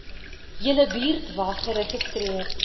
julle buurtwag geregistreer